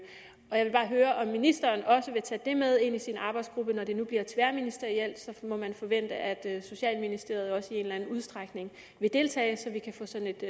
jeg vil bare høre om ministeren også vil tage det med ind i sin arbejdsgruppe når det nu bliver tværministerielt må man forvente at socialministeriet også i en eller anden udstrækning vil deltage så vi kan få sådan et